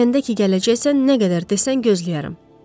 Biləndə ki, gələcəksən nə qədər desən gözləyərəm.